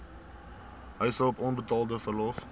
huishulp onbetaalde verlof